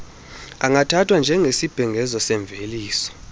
angathathwa njengesibhengezo semveliso